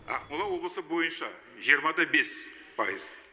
ақмола облысы бойынша жиырма да бес пайыз